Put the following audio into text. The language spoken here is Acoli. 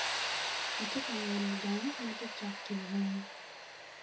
Atye kaeno gang matye cok ki bunga.